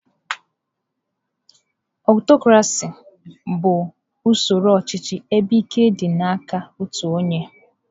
Aụtọcrasị bụ usoro ọchịchị ebe ike dị n'aka otu onye.